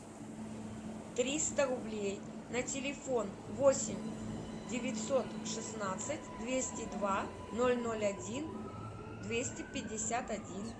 триста рублей на телефон восемь девятьсот шестнадцать двести два ноль ноль один двести пятьдесят один